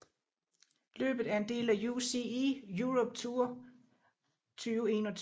Løbet er en del af UCI Europe Tour 2021